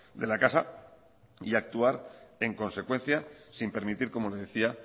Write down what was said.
de la casa y actuar en consecuencia sin permitir como le decía